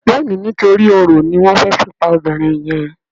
Béèni nítorí oro ní wón fè fí pá obìrin yen.